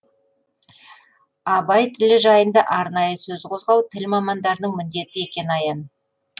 абай тілі жайында арнайы сөз қозғау тіл мамандарының міндеті екені аян